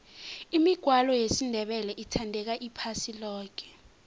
imigwalo yesindebele ithandeka iphasi loke